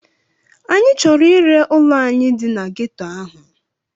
Anyị chọrọ ire ụlọ anyị dị na ghetto ahụ.